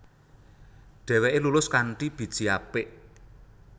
Dheweke lulus kanthi biji apik